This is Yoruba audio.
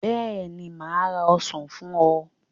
Bẹ́ẹ̀ ni, mà á ra ọsàn fún ọ.